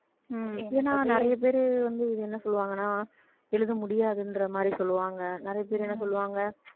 ஹம் ஏன்னா நிறைய பேரு வந்து இது என்ன சொல்லுவாங்கன்னா எழுத முடியாதுன்ற மாதிரி சொல்லுவாங்க. நிறைய பேர் என்ன சொல்லுவாங்க